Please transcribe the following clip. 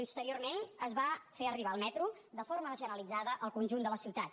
posteriorment es va fer arribar el metro de forma generalitzada en el conjunt de la ciutat